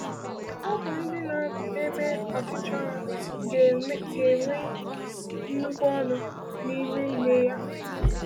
Ụmụ ndị na-eme ọchịchọ Ya ga-enwe nnukwu ọṅụ n’ime ime ya.